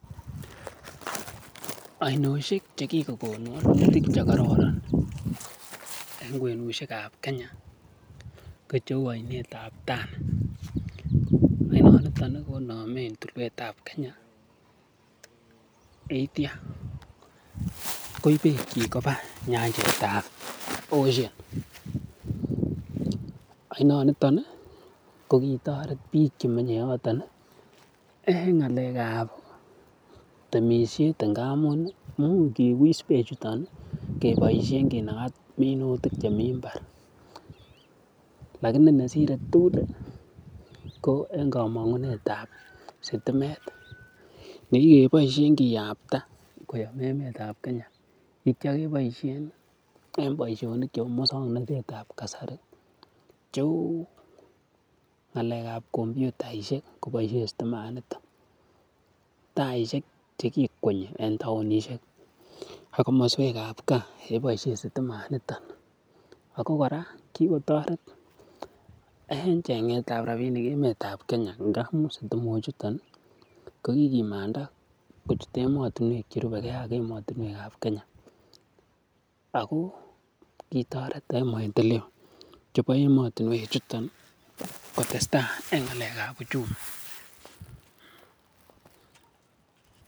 Oinoshek che kikogon che kororon en kwenushek ab Kenya kocheu oinet ab Tana, oinonito konomen tulwet ab Kenaya k kitya koib beekyik koba nyanjet ab Indian Ocean oinoniton ko kitoret biiik che menye yoton en ng'alek ab temishet ngamun imuch kiwis beechuton kebooishen kinaga minutik chemi mbar lakini nesire tugul ko en komong'unet ab sitimet ne kigeboishen kiyapta koyom emet ab Kenya ak kityo keboishen en boisionik chebo muwsoknatet ab kasari cheu ngalek ab kompyutaishek koboishen sitimanito taishek che kikwenyi en taonishek ak komoswek ab gaa koboisien sitimanito ago kora kigotoret en cheng'et ab rabinik en emet ab Kenya ngamun sitimok chuton kokigimanda kochut emotinwek che rubege ak emet ab Kenya ago kitoret en maendeleo chebo emotinwek chuto kotestai en ng'alek ab uchumi